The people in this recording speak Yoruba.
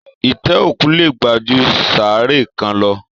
Itẹ òkú lè gbà jù saaré kàn lọ.